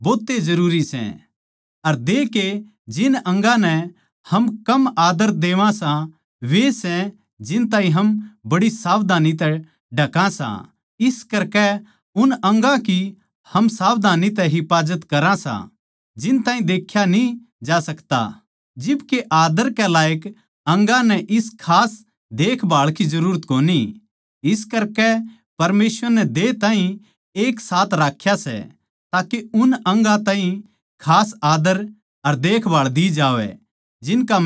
अर देह के जिन अंगा नै हम कम आद्दर देवां सां वे सै जिन ताहीं हम बड़ी सावधानी तै ढका सां इस करकै हम उन अंगा की हम सावधानी तै हिफाजत करा सां जिन ताहीं देख्या न्ही जा सकता जिब के आदर के लायक अंगा नै इस खास देखभाळ की जरूरत कोनी इस करकै परमेसवर नै देह ताहीं एक साथ राख्या सै ताके उन अंगां ताहीं खास आदर अर देखभाळ दी जावै जिनका महत्व कम सै